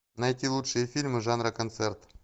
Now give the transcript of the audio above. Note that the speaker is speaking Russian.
найти лучшие фильмы жанра концерт